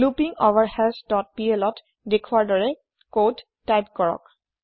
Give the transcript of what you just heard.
লুপিংগভাৰহাছ dot plত দেখোৱাৰ দৰে কদ টাইপ কৰক